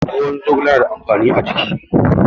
Ruwan zogale yana da amfani a jiki.